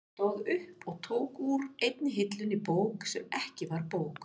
Hann stóð upp og tók úr einni hillunni bók sem ekki var bók.